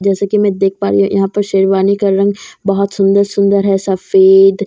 जैसा की मैं देख पा रही हूँ यहाँ पर शेरवानी का रंग बहुत सुंदर सुंदर है सफेद औ --